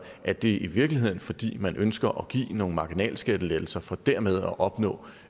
er det i virkeligheden fordi man ønsker at give nogle marginalskattelettelser for dermed at opnå